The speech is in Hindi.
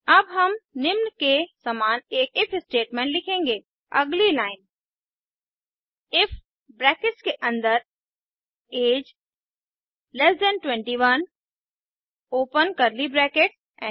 अब हम निम्न के समान एक इफ स्टेटमेंट लिखेंगे अगली लाइन इफ ब्रैकेट्स के अन्दर अगे 21 ओपन कर्ली ब्रैकेट्स